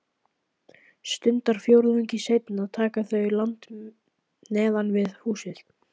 Stundarfjórðungi seinna taka þau land neðan við húsið.